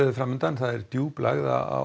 fram undan djúp lægð á